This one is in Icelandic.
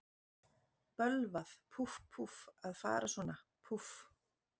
Bölvað, púff, púff, að fara svona, púff.